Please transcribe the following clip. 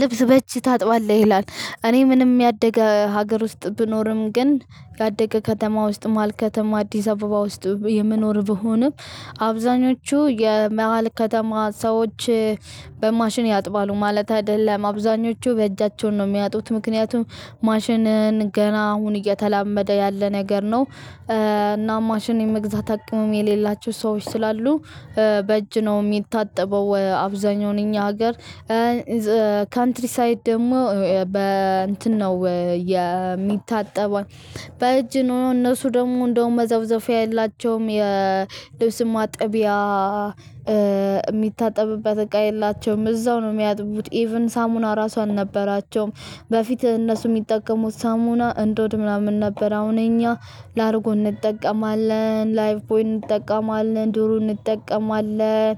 ልብስ በእጂ ታጥባለህ ይላል እኔ ምንም ያደገ ሀገር ውስጥ ብኖርም ግን ያደገ ከተማ ውስጥ መሃል ከተማ አዲስ አበባ ውስጥ የምኖር ቢሆንም አብዛኞቹ የመሃል ከተማ ሰዎች በማሽን ያጥባሉ ማለት አይደለም አብዝሀኞቹ በእጃቸው ነው እሚያጥቡት ምክንያቱም ማሽን ገና አሁን እየተላመደ ያለ ነገር ነው። እና ማሽን የመግዛት አቅምም የሌላቸው ሰዎች ስላሉ በእጅ ነው የሚታጠበው አብዛኛው እኛ ሀገር። ካንትሪሳይድ ደግሞ በ እንትን ነው የሚታጠበው። በእጅ ነው እነሱ ደግሞ እንደውም መዘፍዘፊያ የላቸውም የልብስም ማጠቢያ የሚታጠብበት እቃ የላቸውም እዛው ነው የሚያጥቡት ኢቭን ሳሙና ራሷን አልነበራቸውም። በፊት እነሱ የሚጠቀሙት ሳሙና እንዶድ ምናምን ነበር አሁን እኛ ላድርጎ እንጠቀማለን ላየፍቦይ እንጠቀማለን ዱሩ እንጠቀማለን።